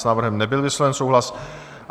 S návrhem nebyl vysloven souhlas.